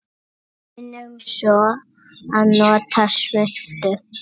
Munum svo að nota svuntu.